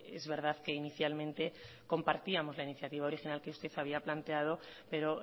es verdad que inicialmente compartíamos la iniciativa original que usted había planteado pero